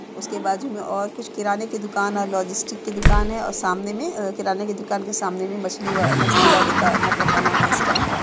उसके बाजू में और कुछ किराने की दुकान और लॉजिस्टिक की दुकान है और सामने में और अ किराने की दुकान के सामने में मछली व मछली वाले का मतलब बना हुआ स्टैंड ।